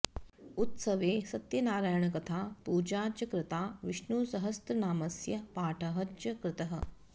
उत्सवे सत्यनारायणकथा पूजा च कृता विष्णुसहस्रनामस्य पाठः च कृतः